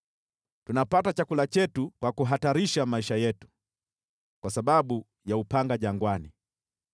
Tunapata chakula chetu kwa kuhatarisha maisha yetu kwa sababu ya upanga jangwani.